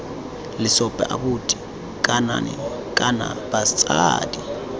lesope abuti ngakane kana batsadi